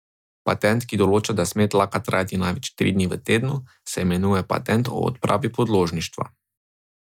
Patent, ki določa, da sme tlaka trajati največ tri dni v tednu, se imenuje patent o odpravi podložništva.